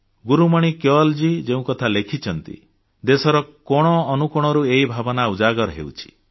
ଗୁରୁମଣି କେୱଲ୍ଜୀ ଯେଉଁକଥା ଲେଖିଛନ୍ତି ଦେଶର କୋଣ ଅନୁକୋଣରୁ ଏହି ଭାବନା ଉଜାଗର ହେଉଛି